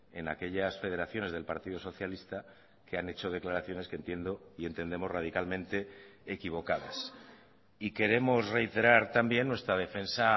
en aquellas federaciones del partido socialista que han hecho declaraciones que entiendo y entendemos radicalmente equivocadas y queremos reiterar también nuestra defensa